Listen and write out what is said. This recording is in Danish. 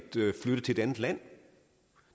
flytte til et andet land